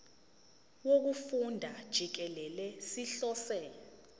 wokufunda jikelele sihlose